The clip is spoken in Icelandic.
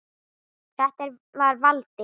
Þetta var Valdi.